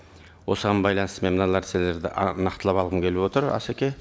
осыған байланысты мен мына нәрселерді нақтылап алғым келіп отыр асеке